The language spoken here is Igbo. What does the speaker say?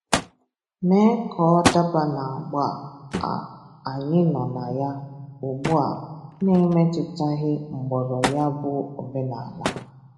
mee ka ọ dabaa n’agba a anyị nọ na ya ugbua na-emetụtaghi mgbọrọ ya bụ omenala.